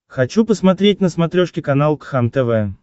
хочу посмотреть на смотрешке канал кхлм тв